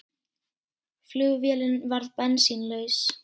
Flugvélin varð bensínlaus